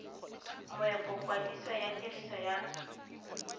moepo kwadiso ya tiriso ya